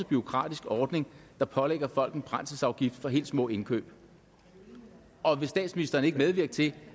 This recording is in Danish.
bureaukratisk ordning der pålægger folk en brændselsafgift på helt små indkøb og vil statsministeren ikke medvirke til